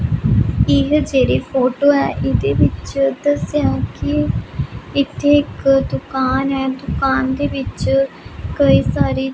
ਇਹ ਜਿਹੜੀ ਫੋਟੋ ਹੈ ਇਹਦੇ ਵਿੱਚ ਦੱਸਿਆ ਹੈ ਕਿ ਇੱਥੇ ਇੱਕ ਦੁਕਾਨ ਹੈ ਦੁਕਾਨ ਦੇ ਵਿੱਚ ਕਈ ਸਾਰੀ --